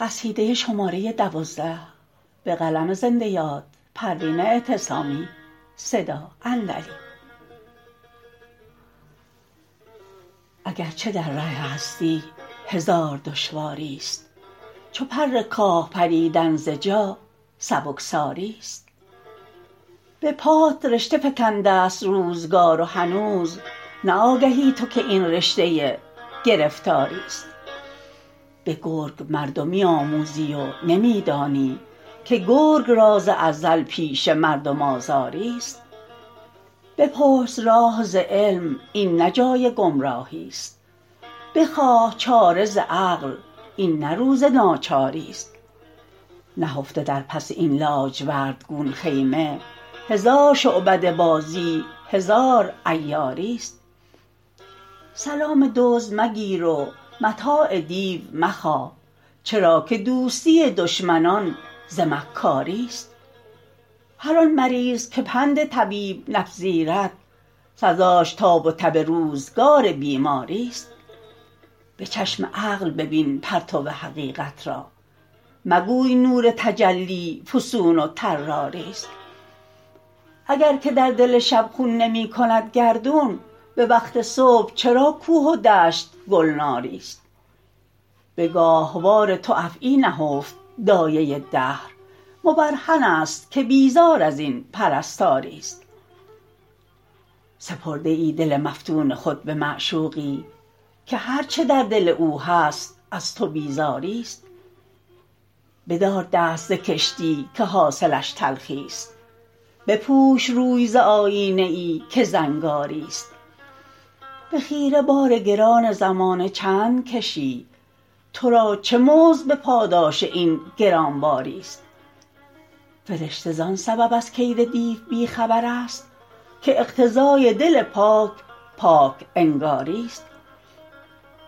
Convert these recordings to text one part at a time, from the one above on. اگرچه در ره هستی هزار دشواریست چو پر کاه پریدن ز جا سبکساریست به پات رشته فکندست روزگار و هنوز نه آگهی تو که این رشته گرفتاریست بگرگ مردمی آموزی و نمیدانی که گرگ را ز ازل پیشه مردم آزاریست بپرس راه ز علم این نه جای گمراهیست بخواه چاره ز عقل این نه روز ناچاریست نهفته در پس این لاجورد گون خیمه هزار شعبده بازی هزار عیاریست سلام دزد مگیر و متاع دیو مخواه چرا که دوستی دشمنان ز مکاریست هر آن مریض که پند طبیب نپذیرد سزاش تاب و تب روزگار بیماریست بچشم عقل ببین پرتو حقیقت را مگوی نور تجلی فسون و طراریست اگر که در دل شب خون نمیکند گردون بوقت صبح چرا کوه و دشت گلناریست بگاهوار تو افعی نهفت دایه دهر مبرهن است که بیزار ازین پرستاریست سپرده ای دل مفتون خود بمعشوقی که هر چه در دل او هست از تو بیزاریست بدار دست ز کشتی که حاصلش تلخیست بپوش روی ز آیینه ای که زنگاریست بخیره بار گران زمانه چند کشی ترا چه مزد بپاداش این گرانباریست فرشته زان سبب از کید دیو بیخبر است که اقتضای دل پاک پاک انگاریست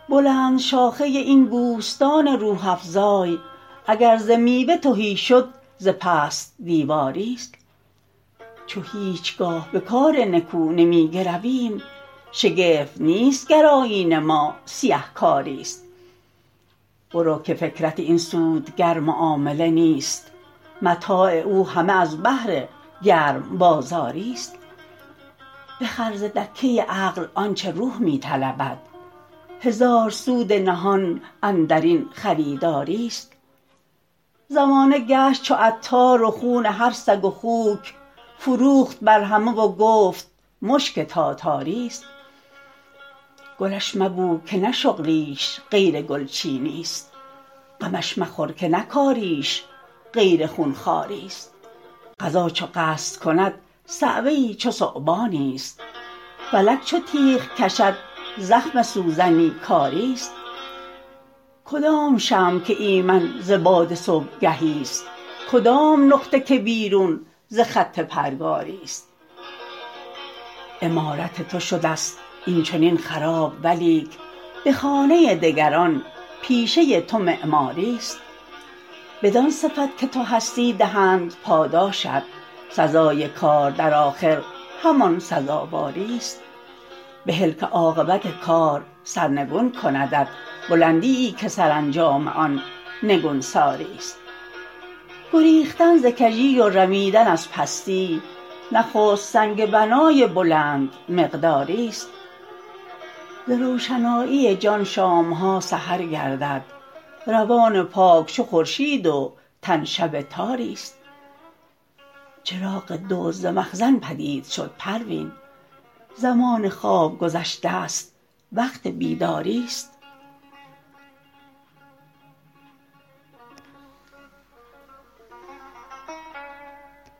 بلند شاخه این بوستان روح افزای اگر ز میوه تهی شد ز پست دیواریست چو هیچگاه به کار نکو نمیگرویم شگفت نیست گر آیین ما سیه کاریست برو که فکرت این سودگر معامله نیست متاع او همه از بهر گرم بازاریست بخر ز دکه عقل آنچه روح می طلبد هزار سود نهان اندرین خریداریست زمانه گشت چو عطار و خون هر سگ و خوک فروخت بر همه و گفت مشک تاتاریست گلش مبو که نه شغلیش غیر گلچینیست غمش مخور که نه کاریش غیر خونخواریست قضا چو قصد کند صعوه ای چو ثعبانی است فلک چو تیغ کشد زخم سوزنی کاریست کدام شمع که ایمن ز باد صبحگهی است کدام نقطه که بیرون ز خط پرگاریست عمارت تو شد است این چنین خراب ولیک بخانه دگران پیشه تو معماریست بدان صفت که تو هستی دهند پاداشت سزای کار در آخر همان سزاواریست بهل که عاقبت کار سرنگون کندت بلندیی که سرانجام آن نگونساریست گریختن ز کژی و رمیدن از پستی نخست سنگ بنای بلند مقداریست ز روشنایی جان شامها سحر گردد روان پاک چو خورشید و تن شب تاریست چراغ دزد ز مخزن پدید شد پروین زمان خواب گذشتست وقت بیداریست